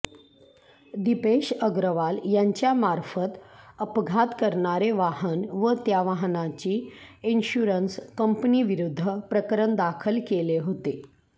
दिपेश अग्रवाल यांच्यामार्फत अपघात करणारे वाहन व त्या वाहनाची इन्शुरन्स कंपनीविरुद्ध प्रकरण दाखल केले होते